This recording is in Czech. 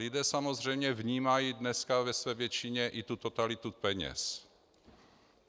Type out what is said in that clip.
Lidé samozřejmě vnímají dneska ve své většině i tu totalitu peněz.